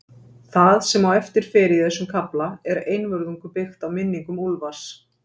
Það, sem á eftir fer í þessum kafla, er einvörðungu byggt á minningum Úlfars